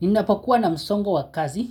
Ninapokuwa na msongo wa kazi,